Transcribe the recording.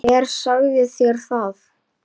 Nú dró fyrir sólu.